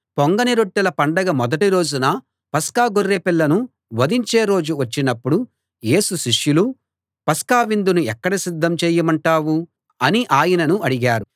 పొంగని రొట్టెల పండగ మొదటి రోజున పస్కా గొర్రె పిల్లను వధించే రోజు వచ్చినప్పుడు యేసు శిష్యులు పస్కా విందును ఎక్కడ సిద్ధం చేయమంటావు అని ఆయనను అడిగారు